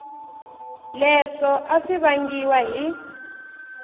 leswo a swi vangiwa hi